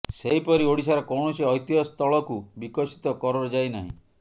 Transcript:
ସେହିପରି ଓଡ଼ିଶାର କୌଣସି ଐତିହ୍ୟ ସ୍ଥଳକୁ ବିକଶିତ କରଯାଇ ନାହିଁ